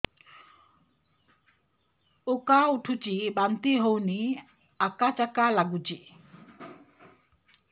ଉକା ଉଠୁଚି ବାନ୍ତି ହଉନି ଆକାଚାକା ନାଗୁଚି